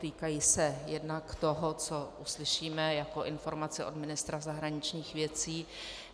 Týkají se jednak toho, co uslyšíme jako informaci od ministra zahraničních věcí.